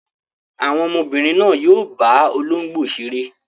Àwọn ọmọbìnrin náà yóò bá olóńgbò ṣeré.